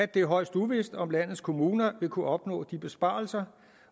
det er højst uvist om landets kommuner vil kunne opnå de besparelser